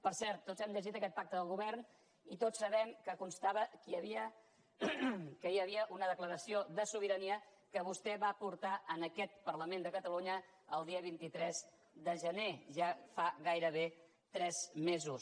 per cert tots hem llegit aquest pacte de govern i tots sabem que constava que hi havia una declaració de sobirania que vostè va portar a aquest parlament de catalunya el dia vint tres de gener ja fa gairebé tres mesos